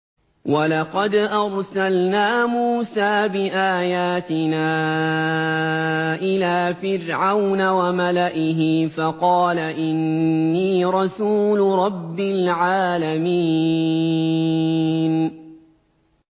وَلَقَدْ أَرْسَلْنَا مُوسَىٰ بِآيَاتِنَا إِلَىٰ فِرْعَوْنَ وَمَلَئِهِ فَقَالَ إِنِّي رَسُولُ رَبِّ الْعَالَمِينَ